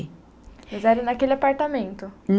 Mas era naquele apartamento?